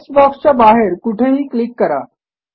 text बॉक्सच्या बाहेर कुठेही क्लिक करा